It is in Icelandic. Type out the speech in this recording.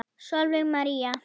Sólveig María.